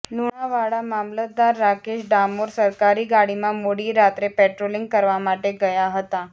લુણાવાડા મામલતદાર રાકેશ ડામોર સરકારી ગાડીમાં મોડી રાત્રે પેટ્રોલિંગ કરવા માટે ગયા હતા